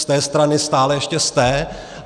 Z té strany stále ještě jste.